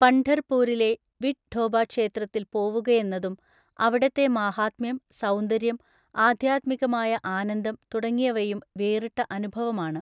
പംഢർ പൂരിലെ വിട് ഠോബാ ക്ഷേത്രത്തിൽ പോവുകയെന്നതും അവിടത്തെ മാഹാത്മ്യം, സൗന്ദര്യം, ആധ്യാത്മികമായ ആനന്ദം തുടങ്ങിയവയും വേറിട്ട അനുഭവമാണ്.